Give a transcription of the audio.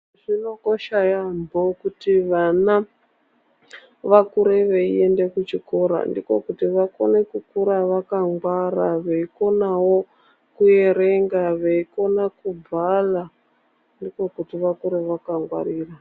Zvinokosha yamho kuti vana vakure vaende kuchikora ndiko kuti vakone kukura vakangwara veikonawo kuerenga veikona kubala ndiko kuti vakure vakangwarira .